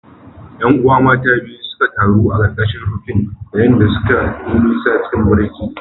’Yan’uwa mata biyu suka taru a ƙarƙashin rufin, yayin da suka yi nisa cikin barci.